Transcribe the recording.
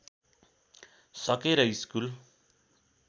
सकेर स्कुल